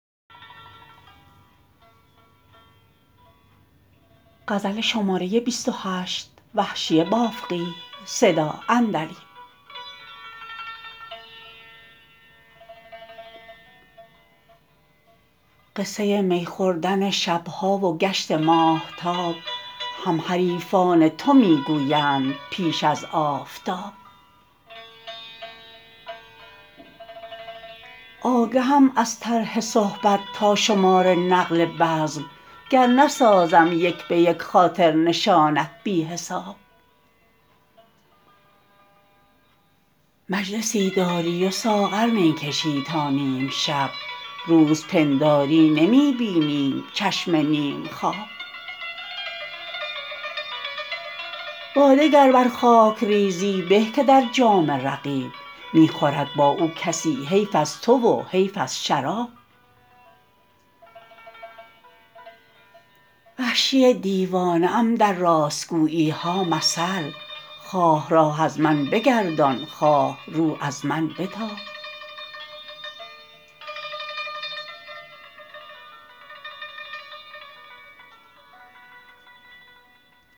قصه می خوردن شبها و گشت ماهتاب هم حریفان تو می گویند پیش از آفتاب آگهم از طرح صحبت تا شمار نقل بزم گر نسازم یک به یک خاطر نشانت بی حساب مجلسی داری و ساغر می کشی تا نیمشب روز پنداری نمی بینیم چشم نیمخواب باده گر بر خاک ریزی به که در جام رقیب می خورد با او کسی حیف از تو و حیف از شراب وحشی دیوانه ام در راستگوییها مثل خواه راه از من بگردان خواه رو از من بتاب